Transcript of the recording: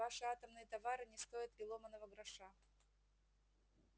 ваши атомные товары не стоят и ломаного гроша